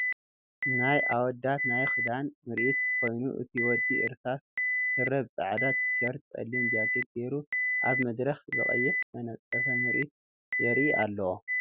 ናይ ኣወዳት ናይ ክዳን ምርኢት ኮይኑ እቲ ወዲ እርሳስ ስረ ብ ፃዕዳ ትሸርትን ፀሊም ጃኬት ጌሩ ኣብ መድረክ ብቀይሕ ዝተነፀፈ ምርኢቱ የርኢ ኣሎ።